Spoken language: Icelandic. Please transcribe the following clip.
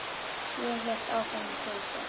Ég hélt áfram að hlaupa.